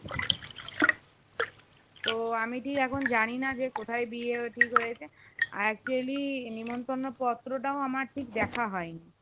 তো আমি ঠিক এখন জানিনা যে কোথায় বিয়ে ঠিক হয়েছে actually নিমন্ত্রণ পত্রটাও আমার ঠিক দেখা হয়নি